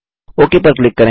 okay पर click करें